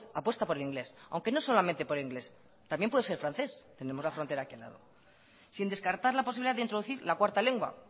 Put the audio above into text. apuesta por el inglés aunque no solamente por inglés también puede ser francés tenemos la frontera aquí al lado sin descartar la posibilidad de introducir la cuarta lengua